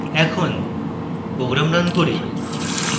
এখন program run করি